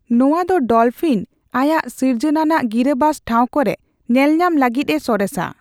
ᱱᱚᱣᱟ ᱫᱚ ᱰᱚᱞᱯᱷᱤᱱ ᱟᱭᱟᱜ ᱥᱤᱨᱡᱚᱱᱟᱱᱟᱜ ᱜᱤᱨᱟᱹᱵᱟᱥ ᱴᱷᱟᱣ ᱠᱚᱨᱮ ᱧᱮᱞᱧᱟᱢ ᱞᱟᱹᱜᱤᱫ ᱮ ᱥᱚᱨᱮᱥᱟ ᱾